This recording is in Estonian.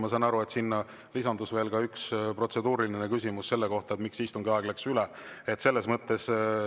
Ma saan aru, et sinna lisandus veel üks protseduuriline küsimus selle kohta, miks istungi ajast mindi üle.